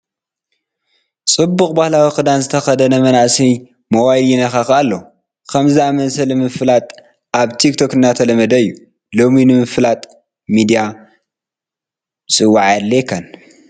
ፅቡቕ ባህላዊ ክዳን ዝተኸደነ መንእሰይ ሞባይል ይነኻኽእ ኣሎ፡፡ ከምዚ ዝኣምሰለ ምፍላጥ ኣብ ቲክቶክ እናተለመደ እዩ፡፡ ሎሚ ንምፍላጥ ሚድያ ምፅዋዕ ኣየድልየካን፡፡